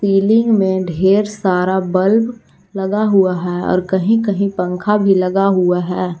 Ceiling में ढेर सारा बल्ब लगा हुआ है और कहीं कहीं पंखा भी लगा हुआ है।